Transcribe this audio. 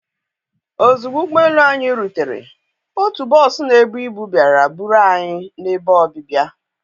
ozugbo ụgbọ elu anyị rutere otu bọs na-ebu ibu bịara buru anyị n'ebe ọbịbịa.